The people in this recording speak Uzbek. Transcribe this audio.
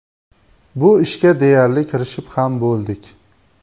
Bu ishga deyarli kirishib ham bo‘ldik.